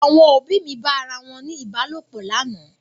Àwọn òbí mi bá ara wọn ní Ìbálòpọ̀ lánàá.